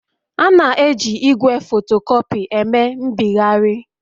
A na-eji igwe fotocopy eme mbịgharị